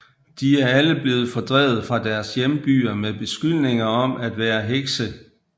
De er alle blevet fordrevet fra deres hjembyer med beskyldninger om at være hekse